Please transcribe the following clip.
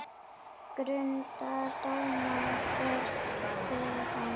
Grundar dóma, hvergi hann